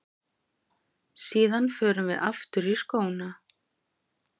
Síðan förum við aftur í skóna.